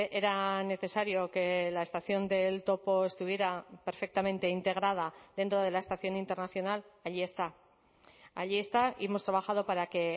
era necesario que la estación del topo estuviera perfectamente integrada dentro de la estación internacional allí está allí está y hemos trabajado para que